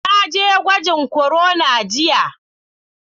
Na je gwajin corona jiya.